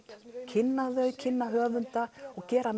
kynna þau kynna höfunda og gera